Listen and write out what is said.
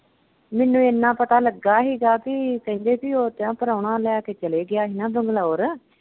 ਮੈਨੂੰ ਇੰਨਾ ਪਤਾ ਲੱਗਾ ਹੀਗਾ ਬਈ ਕਹਿੰਦੇ ਕਿ ਪ੍ਰਾਹੁਣਾ ਲੈ ਕੇ ਚਲਾ ਗਿਆ ਹੀ ਨਾ ਬੰਗਲੌਰ।